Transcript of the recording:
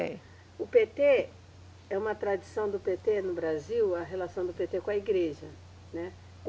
É. O Pêtê, é uma tradição do Pêtê no Brasil, a relação do Pêtê com a igreja, né?